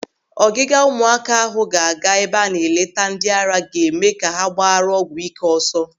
Ọgiga ụmụaka ahụ ga-aga ebe a na-eleta ndịara ga-eme ha ka ha gbaara ọgwụ ị́ké ọsọ.